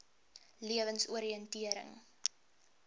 lewensoriëntering